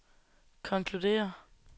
konkluderer